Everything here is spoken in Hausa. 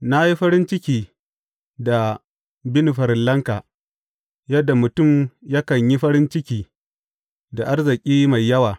Na yi farin ciki da bin farillanka yadda mutum yakan yi farin ciki da arziki mai yawa.